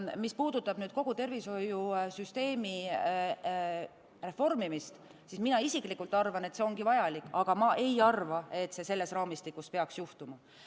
Mis puudutab kogu tervishoiusüsteemi reformimist, siis mina isiklikult arvan, et see ongi vajalik, aga ma ei arva, et see peaks selles raamistikus juhtuma.